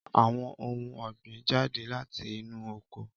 Àwọn ohun ọ̀gbìn jáde láti inú oko.